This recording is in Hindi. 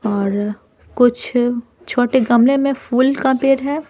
और कुछ छोटे गमले में फूल का पेड़ है।